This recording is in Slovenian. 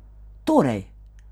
Torej!